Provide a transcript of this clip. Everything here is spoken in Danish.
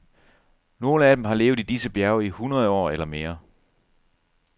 Nogle af dem har levet i disse bjerge i hundrede år eller mere.